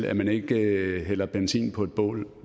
at man ikke hælder benzin på bålet